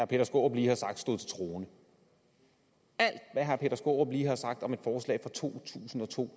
peter skaarup lige har sagt stod til troende alt hvad herre peter skaarup lige har sagt om et forslag fra to tusind og to og